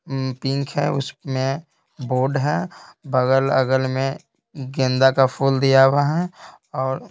pink है उसमें board है बगल अगल में गेंदा का फूल दिया हुआ है और--